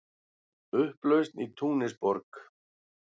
Upplausn í Túnisborg